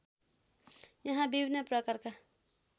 यहाँ विभिन्न प्रकारका